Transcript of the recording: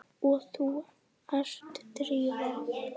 Og þú ert Drífa?